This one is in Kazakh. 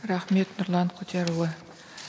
рахмет нұрлан құдиярұлы